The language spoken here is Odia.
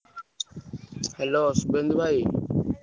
Hello ଶୁଭେନ୍ଦୁ ଭାଇ।